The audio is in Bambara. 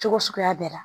Cogo suguya bɛɛ la